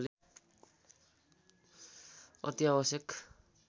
अति आवश्यक